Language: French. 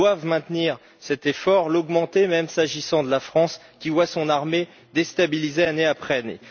Ils doivent maintenir cet effort, l'augmenter même s'agissant de la France, qui voit son armée déstabilisée année après année.